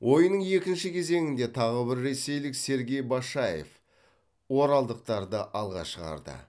ойынның екінші кезеңінде тағы бір ресейлік сергей башаев оралдықтарды алға шығарды